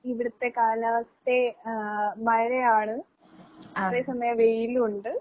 ഇവിടത്തെ കാലാവസ്ഥ ആഹ് മഴയാണ് അതേസമയം വെയിലുവുണ്ട്.